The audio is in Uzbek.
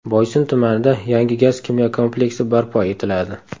Boysun tumanida yangi gaz-kimyo kompleksi barpo etiladi.